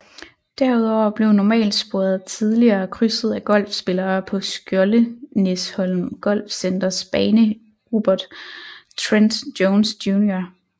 Derudover blev normalsporet tidligere krydset af golfspillere på Skjoldenæsholm Golfcenters bane Robert Trent Jones Jr